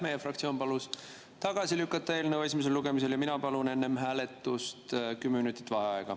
Meie fraktsioon palus eelnõu esimesel lugemisel tagasi lükata ja mina palun enne hääletust 10 minutit vaheaega.